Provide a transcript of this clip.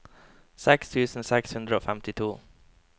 seks tusen seks hundre og femtito